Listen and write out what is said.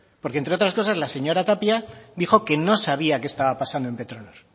porque entre otras cosas la señora tapia dijo que no sabía qué estaba pasando en petronor